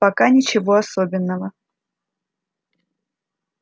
пока ничего особенного